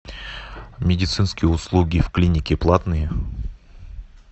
медицинские услуги в клинике платные